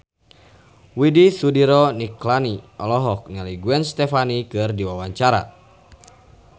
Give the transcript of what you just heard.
Widy Soediro Nichlany olohok ningali Gwen Stefani keur diwawancara